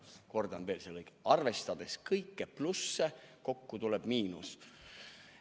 Kordan veel: "Arvestades kõiki plusse, kokku tuleb miinus.